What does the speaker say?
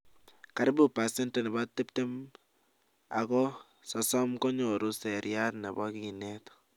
karibu percentage nebo 20 to 30 konyoru seriat nebo kinet